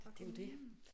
Det jo det